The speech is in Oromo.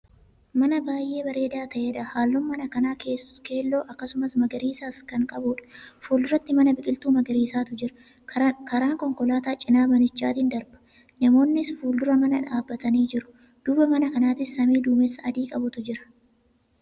Man a baay'ee bareedaa ta'edha. halluun mana kanaa keelloo akkasumas magariisas Kan qabuudha. fuuldura manatti biqiltuu magariisatu jira. karaan konkolaataa cinaa manichaatiin darba. namoonnis fuuldura manaa dhaabatanii jiru. duuba mana kanaatti samii duumessa adii qabutu Jira